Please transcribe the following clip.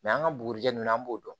an ka bugurijɛ nunnu na an b'o dɔn